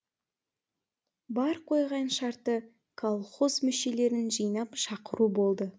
бар қойған шарты колхоз мүшелерін жинап шақыру болды